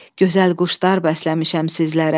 Gözəl quşlar bəsləmişəm sizlərə.